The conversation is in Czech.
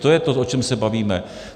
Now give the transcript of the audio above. To je to, o čem se bavíme.